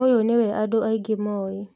Ũyũ nĩwe andũ aingĩ mooĩ